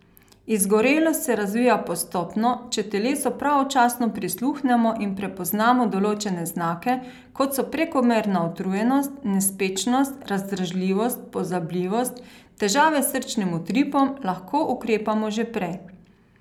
Izgorelost se razvija postopno, če telesu pravočasno prisluhnemo in prepoznamo določene znake, kot so prekomerna utrujenost, nespečnost, razdražljivost, pozabljivost, težave s srčnim utripom, lahko ukrepamo že prej.